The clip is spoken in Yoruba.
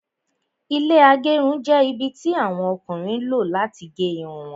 Ilẹ́ agerun jẹ́ ibi tí àwọn Ọkùnrin lọ láti gé Irun wọn